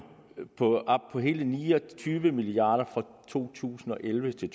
op på hele ni og tyve milliard kroner for to tusind og elleve til